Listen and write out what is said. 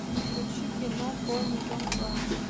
включи кино полный дом два